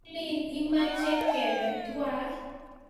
Kalin imache kebe twai